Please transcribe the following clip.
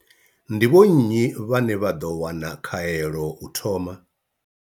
Ndi vho nnyi vhane vha ḓo wana khaelo u thoma?